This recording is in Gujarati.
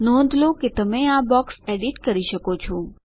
નોંધ લો કે તમે આ બોક્સ એડિટ કરી શકો છો